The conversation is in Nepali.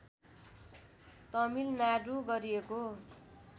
तमिलनाडु गरिएको